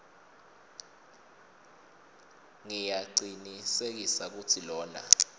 ngiyacinisekisa kutsi lona